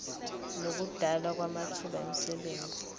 nokudalwa kwamathuba emisebenzi